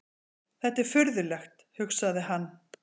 Þetta er furðulegt, hugsaði hann.